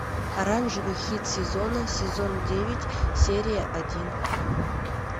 оранжевый хит сезона сезон девять серия один